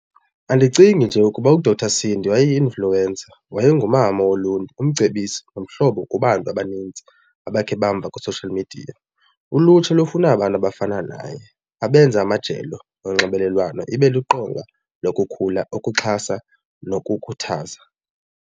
Andicingi nje kuba uDr Sindi wayeyi-influencer wayengumama woluntu, umcebisi, nomhlobo kubantu abanintsi abakhe bamva kwi-social media. Ulutsha lufuna abantu abafana naye abenza amajelo onxibelelwano ibe liqonga lokukhula, ukuxhasa nokukhuthaza.